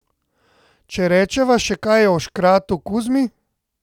Če rečeva še kaj o škratu Kuzmi.